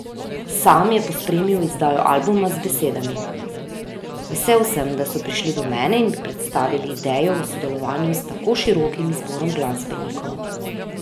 Sam je pospremil izdajo albuma z besedami: 'Vesel sem, da so prišli do mene in mi predstavili idejo o sodelovanju s tako širokim izborom glasbenikov.